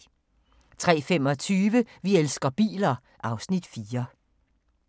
03:25: Vi elsker biler (Afs. 4)